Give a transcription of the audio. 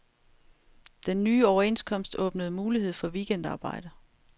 Den nye overenskomst åbnede mulighed for weekendarbejde.